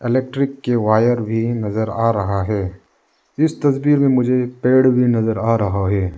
Electric के wire भी नजर आ रहा है इस तस्वीर में मुझे पेड़ भी नजर आ रहा है।